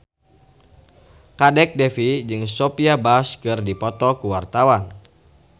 Kadek Devi jeung Sophia Bush keur dipoto ku wartawan